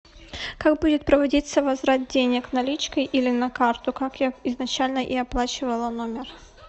как будет проводиться возврат денег наличкой или на карту как я изначально и оплачивала номер